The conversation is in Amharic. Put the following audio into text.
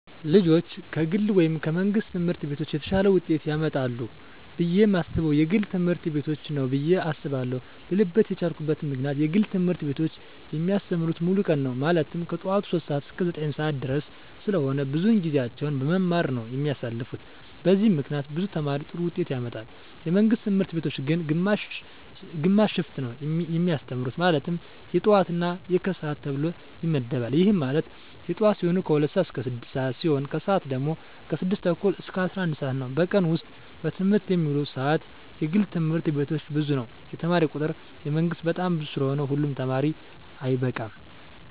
ልጆች ከግል ወይም ከመንግሥት ትምህርት ቤቶች የተሻለ ውጤት ያመጣሉ ብየ የማስበው የግል ትምህርት ቤቶችን ነው ብየ አስባለው ልልበት የቻልኩት ምክንያት የግል ትምህርት ቤቶች የሚያስተምሩት ሙሉ ቀን ነው ማለትም ከጠዋቱ 3:00 ሰዓት እስከ 9:30 ድረስ ስለሆነ ብዙውን ጊዜያቸውን በመማማር ነው የሚያሳልፉት በዚህም ምክንያት ብዙ ተማሪ ጥሩ ውጤት ያመጣል። የመንግስት ትምህርት ቤቶች ግን ግማሽ ሽፍት ነው የሚያስተምሩ ማለትም የጠዋት እና የከሰዓት ተብሎ ይመደባል ይህም ማለት የጠዋት ሲሆኑ 2:00 ስዓት እስከ 6:00 ሲሆን የከሰዓት ሲሆኑ ደግሞ 6:30 እስከ 11:00 ነው በቀን ውስጥ በትምህርት የሚውሉበት ሰዓት የግል ትምህርት ቤቶች ብዙ ነው የተማሪ ቁጥሩ የመንግስት በጣም ብዙ ስለሆነ ሁሉ ተማሪ አይበቃም።